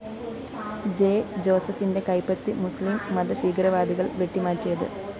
J ജോസഫിന്റെ കൈപ്പത്തി മുസ്ലിം മതഭീകരവാദികള്‍ വെട്ടിമാറ്റിയത്